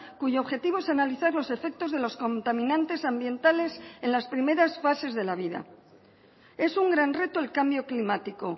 cuyo objetivo es analizar los efectos de los contaminantes ambientales en las primeras fases de la vida es un gran reto el cambio climático